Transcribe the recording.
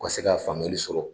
Ka se ka faamuyali sɔrɔ